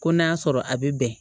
Ko n'a y'a sɔrɔ a bɛ bɛn